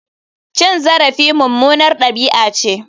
Cin zarafi mummunar dabi'a ce.